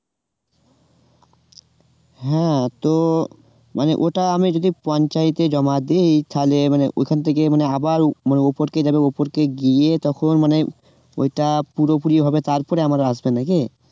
হ্যাঁ তো মানে এটা আমি যদি পঞ্চায়েতে জমা দিই তালে মানে ওখান থেকে মানে আবার মানে উপর থেকে আমি উপর থেকে গিয়ে তখন মানে ওটা পুরোপুরি ভাবে তারপরে নাকি?